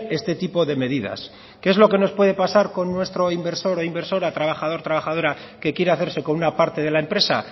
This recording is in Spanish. este tipo de medidas qué es lo que nos puede pasar con nuestro inversor o inversora trabajador trabajadora que quiere hacerse con una parte de la empresa